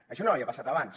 això no havia passat abans